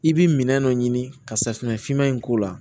I bi minɛn dɔ ɲini ka safunɛ finma in k'o la